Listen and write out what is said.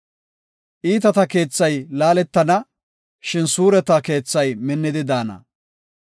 Iitata keethay laaletana; shin suureta keethay minnidi daana.